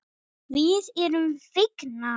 Við erum fegnar.